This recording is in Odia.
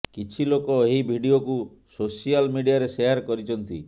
କିଛି ଲୋକ ଏହି ଭିଡିଓକୁ ସୋସିଆଲ ମିଡ଼ିଆରେ ସେୟାର କରିଛନ୍ତି